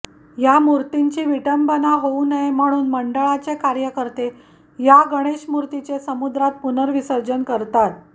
या मूर्तींची विटंबना होऊ नये म्हणून मंडळाचे कार्यकर्ते या गणेशमूर्तीचे समुद्रात पुनर्विसर्जन करतात